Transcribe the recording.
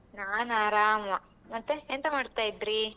ನಾನಾರಮ ಮತ್ತೆ ಎಂತ ಮಾಡ್ತಾ ಇದ್ರಿ?